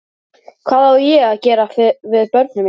Hvað á ég að gera við börnin mín?